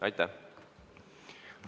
Aitäh!